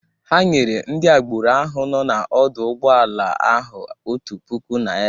Ha nyere ndị agboro ahụ nọọ n'ọdọ ụgbọala ahụ otu puku naira.